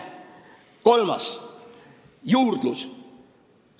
Kolmandaks, juurdlusest.